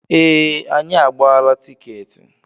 Ee, anyị agbaala tiketi.